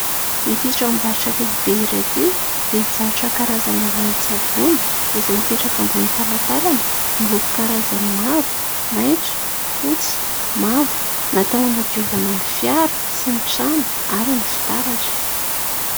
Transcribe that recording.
ity tranombarotra lehibe iray ity dia mivarotra karazana ranon-tsavony izay mipetraka ambonin'ny talatalana miloko karazany maro maintso fotsy mavo natao anadiovana ny fiara sy ny trano ary ny fitaratra